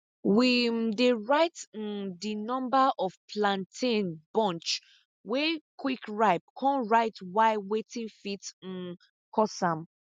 we um dey write um di number of plantain bunch wey quick ripe con write why wetin fit um cause am